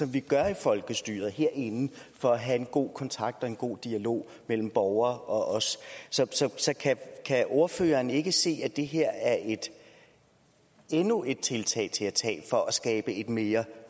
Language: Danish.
vi gør i folkestyret herinde for at have en god kontakt og en god dialog mellem borgere og os så kan kan ordføreren ikke se at det her er endnu et tiltag for at skabe et mere